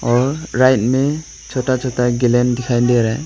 और राइट में छोटा छोटा गेलेन दिखाई दे रहा है।